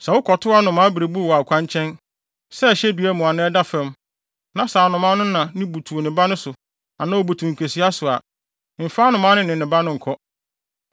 Sɛ wokɔto anomaa berebuw wɔ ɔkwankyɛn, sɛ ɛhyɛ dua mu anaa ɛda fam, na sɛ anomaa no na butuw ne ba no so anaa obutuw nkesua so a, mfa anomaa no na ne ne ba no nkɔ.